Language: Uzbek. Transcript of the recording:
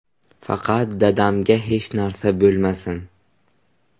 Faqat dadamga hech narsa bo‘lmasin.